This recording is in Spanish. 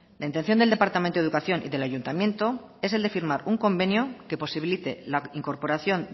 la intención del departamento de educación y del ayuntamiento es el de firmar un convenio que posibilite la incorporación